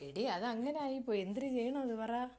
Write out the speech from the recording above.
എടീ അത് അങ്ങനെ ആയിപ്പോയി എന്തര് ചെയ്യണംന്ന് പറ?